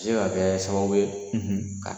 O se ka kɛ sababu ye, ka